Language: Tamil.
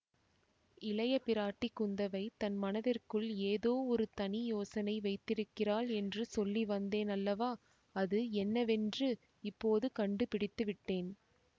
இளைய பிராட்டி குந்தவை தன் மனத்திற்குள் ஏதோ ஒரு தனி யோசனை வைத்திருக்கிறாள் என்று சொல்லி வந்தேன் அல்லவா அது என்னவென்று இப்போது கண்டுபிடித்து விட்டேன்